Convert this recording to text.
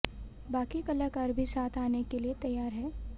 बाकी कलाकार भी साथ आने के लिए तैयार हैं